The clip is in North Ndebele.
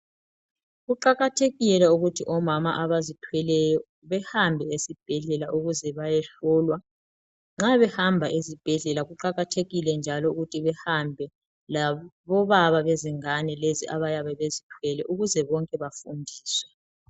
Kuqakathekile ukuthi omama abazithweleyo behambe esibhedlela, ukuze bayehlolwa .Nxa behamba ezibhedlela kuqakathekile njalo ukuthi behambe labobaba bezingane lezi abayabe bezithwele ,ukuze bonke bafundiswe .